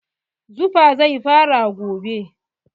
Zufa zai fara gobe.